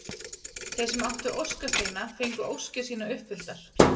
Þeir sem áttu óskasteina fengu óskir sínar uppfylltar.